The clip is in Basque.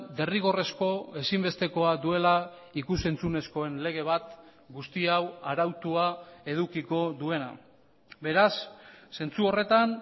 derrigorrezko ezinbestekoa duela ikus entzunezkoen lege bat guzti hau arautua edukiko duena beraz zentzu horretan